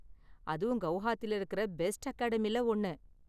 அதுவும் கெளஹாத்தில இருக்குற பெஸ்ட் அகாடமில ஒன்னு.